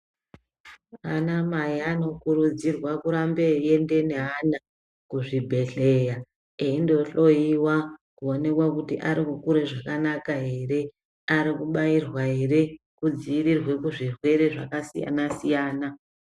Anamai anokurudzirwa kurambe eiende neana kuzvibhedhleya. Eindo hloiwa kuonekwa kuti arikukure zvakanaka ere, aikubairwa ere kudzivirirwe kuzvirwere zvakasiyana-siyana.